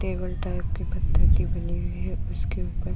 Table type की पत्थर की बनी हुई है। उसके ऊपर --